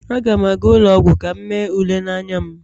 Aga m aga ụlọ ọgwụ ka m mee ule n'anya m